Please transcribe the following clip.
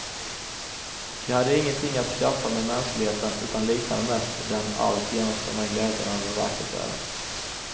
Den hade ingenting att skaffa med mänskligheten, utan liknade mest den allt genomströmmande glädjen över vackert väder.